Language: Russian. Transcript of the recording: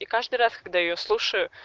и каждый раз когда я её слушаю